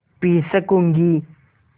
P सकँूगी